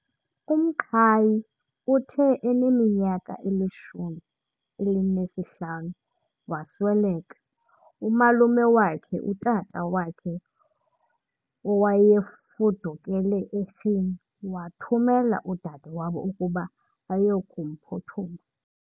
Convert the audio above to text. uMqhayi uthe eneminyaka elishumi elinesihlanu wasweleka umalume wakhe, utata wakhe owayefudukele eRhini wathumela udade wabo ukuba ayokumphuthuma.